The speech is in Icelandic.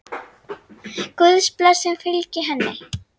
Guðs blessun fylgi henni.